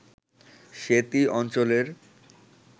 সেতী অঞ্চলের